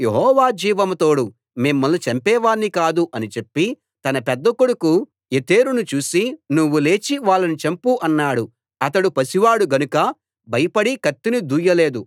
యెహోవా జీవం తోడు మిమ్మల్ని చంపేవాణ్ణి కాదు అని చెప్పి తన పెద్ద కొడుకు యెతెరును చూసి నువ్వు లేచి వాళ్ళని చంపు అన్నాడు అతడు పసి వాడు గనుక భయపడి కత్తిని దూయలేదు